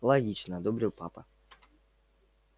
логично одобрил папа